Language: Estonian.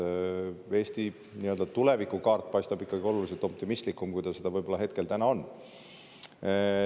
Eesti nii-öelda tulevikukaart paistab ikkagi oluliselt optimistlikum, kui ta seda võib-olla täna on.